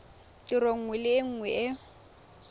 tiro nngwe le nngwe e